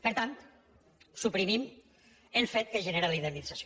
per tant suprimim el fet que genera la indemnització